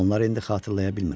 Onları indi xatırlaya bilmirəm.